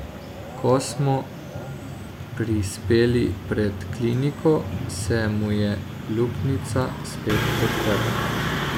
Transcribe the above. Ko smo prispeli pred kliniko, se mu je luknjica spet odprla.